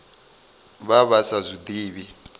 vha vha sa zwi ḓivhi